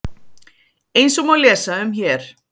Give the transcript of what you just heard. Eins og má lesa um hér